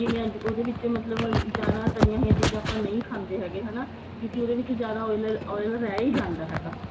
ਜਿਵੇਂ ਅੱਜ ਉਹਦੇ ਵਿੱਚ ਮਤਲਬ ਜਿਆਦਾ ਤਾਲਿਆਂ ਹੋਈਆਂ ਚੀਜ਼ਾਂ ਨਹੀਂ ਖਾਂਦੇ ਹੈਗੇ ਹਨਾ ਕਿਉਂਕਿ ਉਹਦੇ ਵਿੱਚ ਜਿਆਦਾ oil oil ਰਹਿ ਹੀ ਜਾਂਦਾ ਹੈਗਾ